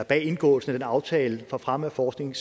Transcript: bag indgåelsen af den aftale for fremme af forskning